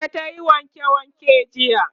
ita tayi wanke wanke jiya